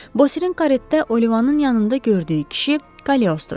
Bosirin karetə Olivanın yanında gördüyü kişi Kaliostro idi.